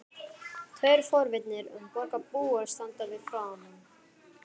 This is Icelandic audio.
Tveir forvitnir borgarbúar standa við fánann.